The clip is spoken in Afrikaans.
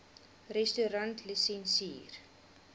restaurantlisensier